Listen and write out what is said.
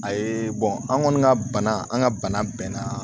A ye an kɔni ka bana an ka bana bɛnna